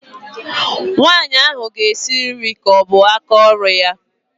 Nwaanyị ahụ ga-esi nri ka ọ bụ aka ọrụ ya